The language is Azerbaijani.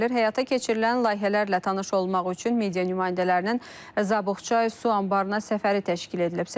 Həyata keçirilən layihələrlə tanış olmaq üçün media nümayəndələrinin Zabuqçay su anbarına səfəri təşkil edilib.